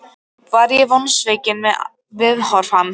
Var ég vonsvikinn með viðhorf hans?